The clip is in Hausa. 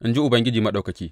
in ji Ubangiji Maɗaukaki.